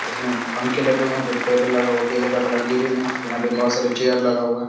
इसमे पंखे लगे हुए है फिर टेबल लगा हुआ है टेबल का कलर ग्रीन है यहाँ पे बहुत सारा चेयर लगा हुआ है।